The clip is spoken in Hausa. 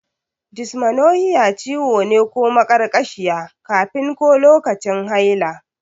Dysmenorrhea ciwo ne ko maƙarƙashiya kafin ko lokacin haila.